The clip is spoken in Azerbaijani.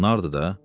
Nardır da.